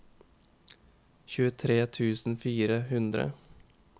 tjuetre tusen og fire hundre